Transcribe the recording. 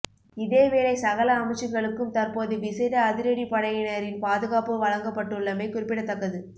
இதேவேளை சகல அமைச்சுகளுக்கும் தற்போது விசேட அதிரடிப்படையினரின் பாதுகாப்பு வழங்கப்பட்டுள்ளமை குறிப்பிடத்தக்கது